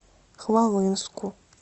хвалынску